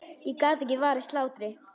Ég get ekki varist hlátri.